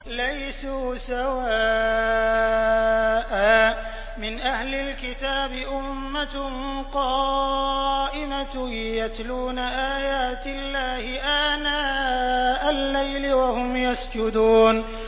۞ لَيْسُوا سَوَاءً ۗ مِّنْ أَهْلِ الْكِتَابِ أُمَّةٌ قَائِمَةٌ يَتْلُونَ آيَاتِ اللَّهِ آنَاءَ اللَّيْلِ وَهُمْ يَسْجُدُونَ